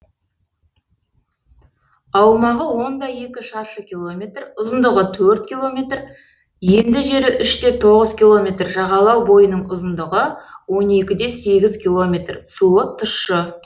аумағы он де екі шаршы километр ұзындығы төрт километр енді жері үш те тоғыз километр жағалау бойының ұзындығы он екі де сегіз километр суы тұщы